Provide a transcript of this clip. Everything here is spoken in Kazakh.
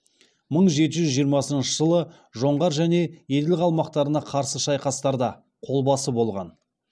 мың жеті жүз жиырмасыншы жылы жоңғар және еділ қалмақтарына қарсы шайқастарда қолбасы болған